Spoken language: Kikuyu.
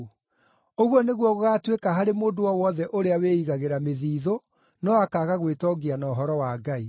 “Ũguo nĩguo gũgaatuĩka harĩ mũndũ o wothe ũrĩa wĩigagĩra mĩthithũ, no akaaga gwĩtongia na ũhoro wa Ngai.”